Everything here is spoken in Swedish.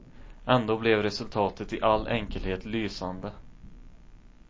Ändå blev resultatet i all enkelhet lysande.